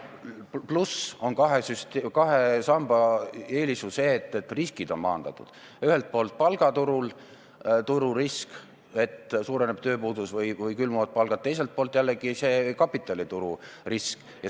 Lisaks on kahe samba eelis ju see, et riskid on maandatud: ühelt poolt palgaturu risk – see, et suureneb tööpuudus või kui külmuvad palgad –, teiselt poolt jällegi kapitalituru risk.